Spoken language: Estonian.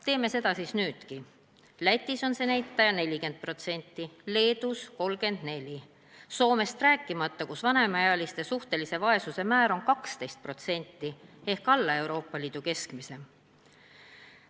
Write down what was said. Teeme seda siis nüüdki: Lätis on see näitaja 40%, Leedus 34%, rääkimata Soomest, kus vanemaealiste suhtelise vaesuse määr on 12% ehk alla Euroopa Liidu keskmise.